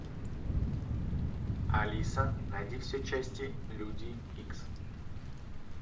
алиса найди все части люди икс